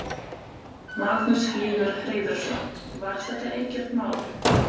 Magnús Hlynur Hreiðarsson: Var þetta ekkert mál?